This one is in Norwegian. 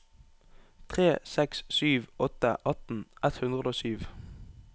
tre seks sju åtte atten ett hundre og sju